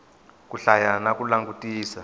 ku hlaya na ku langutisa